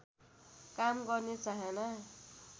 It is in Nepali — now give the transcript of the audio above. काम गर्ने चाहना